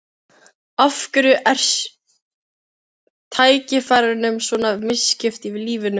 Af hverju er tækifærunum svona misskipt í lífinu?